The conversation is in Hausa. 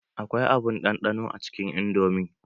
Akwai abun ɗanɗano a cikin indomi.